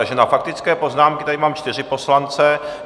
Takže na faktické poznámky tady mám čtyři poslance.